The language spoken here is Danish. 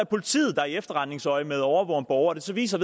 politiet der i efterretningsøjemed overvåger en borger og det så viser